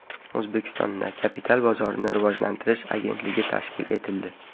O‘zbekistonda Kapital bozorini rivojlantirish agentligi tashkil etildi.